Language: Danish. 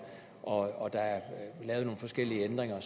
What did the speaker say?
og der er lavet nogle forskellige ændringer og